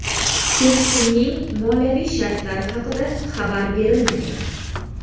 Kelishuvning moliyaviy shartlari haqida xabar berilmagan.